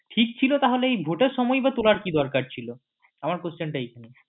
ঠিক ছিল তখন এই ভোটের সময়েই বা তোলার কি দরকার ছিল আমার question টা এইখানে